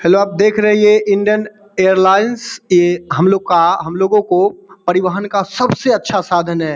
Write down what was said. Hello आप देख रहे है ये इंडियन एयरलाइंस ये हमलोग का हमलोगों को परिवहन का सबसे अच्छा साधन है।